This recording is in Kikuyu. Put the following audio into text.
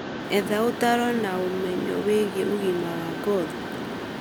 Etha ũtaaro wa ũmenyo wĩgie ũgima wa ngothi.